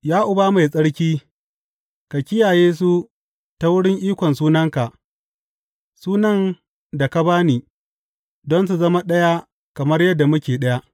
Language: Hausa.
Ya Uba Mai Tsarki, ka kiyaye su ta wurin ikon sunanka, sunan da ka ba ni, don su zama ɗaya kamar yadda muke ɗaya.